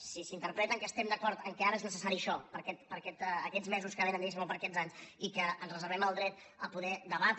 si s’interpreta que estem d’acord que ara és necessari ai·xò per a aquests mesos que vénen diguem·ne o per a aquests anys i que ens reservem el dret a poder de·batre